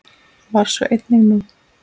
Var svo einnig nú.